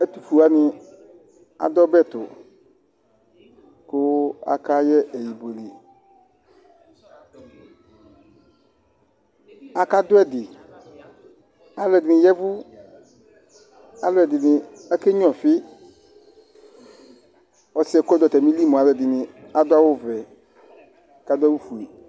Ɛtufue wani adu ɔbɛtu ku akayɛ ɛyi akadu ɛdi aluɛdini ya vu aluɛdini akenya ɔfi ɔsiɛ kɔdu atamili mu aluɛdini adu awu vɛ kadu awu fue